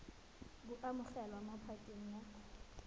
bo amogelwa mo pakeng ya